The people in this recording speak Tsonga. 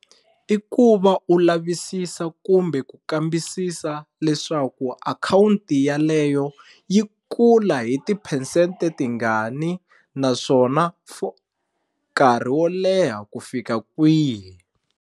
I ku va u lavisisa kumbe ku kambisisa leswaku akhawunti yaleyo yi kula hi tiphesente tingani naswona for nkarhi wo leha ku fika kwihi.